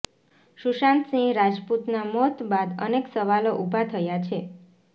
સુશાંત સિંહ રાજપૂતના મોત બાદ અનેક સવાલો ઉભા થયા છે